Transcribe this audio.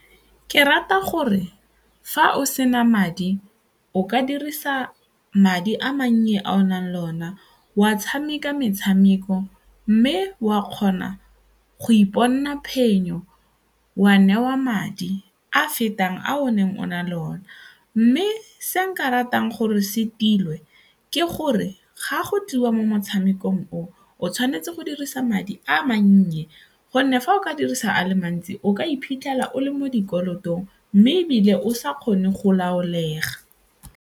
Ke rata gore fa o sena madi o ka dirisa madi a mannye a o nang le ona wa tshameka metshameko mme wa kgona go iponela phenyo, wa newa madi a fetang a o neng o na le one mme se nka ratang gore se tilwe ke gore ga go tliwa mo motshamekong o o tshwanetse go dirisa madi a mannye gonne fa o ka dirisa a le mantsi o ka iphitlhela o le mo dikolotong mme ebile o sa kgone go laolega.